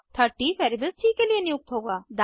30 variable C के लिए नियुक्त होगा